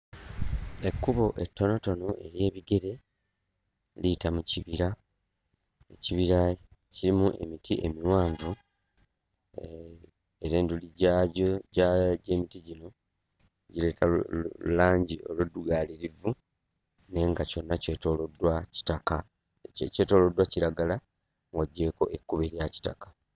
Ekkubo ettonotono ery'ebigere liyita mu kibira, ekibira kirimu emiti miwanvu era enduli gyagyo gy'emiti gino gireeta lu lulangi oluddugaaririvu naye nga kyonna kyetooloddwa kitaka; kyetooloddwa kiragala ng'oggyeeko ekkubo erya kitaka.